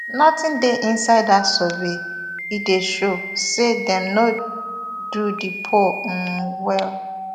nothing dey inside dat survey e dey show say dem no do di poll um well